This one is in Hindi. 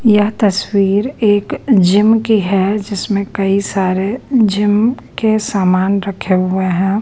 यह तस्वीर एक जिम की है जिसमें कई सारे जिम के सामान रखे हुए है।